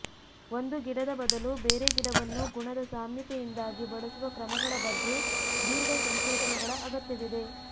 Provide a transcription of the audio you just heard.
ಒಂದು ಗಿಡದ ಬದಲು ಬೇರೆ ಗಿಡವನ್ನು ಗುಣದ ಸಾಮ್ಯತೆಯಿಂದಾಗಿ ಬಳಸುವ ಕ್ರಮಗಳ ಬಗ್ಗೆ ದೀರ್ಘ ಸಂಶೋಧನೆಗಳ ಅಗತ್ಯವಿದೆ